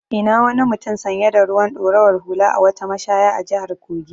I na wani mutum sanye da ruwan ɗorawar hula a wata mashaya a jihar Kogi.